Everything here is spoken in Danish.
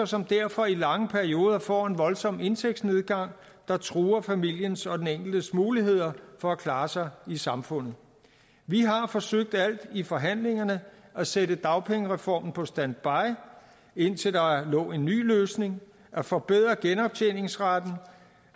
som derfor i lange perioder får en voldsom indtægtsnedgang der truer familiens og den enkeltes muligheder for at klare sig i samfundet vi har forsøgt alt i forhandlingerne at sætte dagpengereformen på standby indtil der lå en ny løsning at forbedre genoptjeningsretten